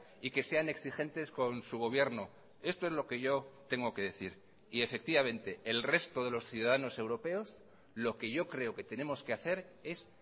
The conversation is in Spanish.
y que sean exigentes con su gobierno esto es lo que yo tengo que decir y efectivamente el resto de los ciudadanos europeos lo que yo creo que tenemos que hacer es